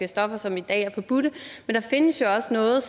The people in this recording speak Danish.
stoffer som i dag er forbudte men der findes jo også noget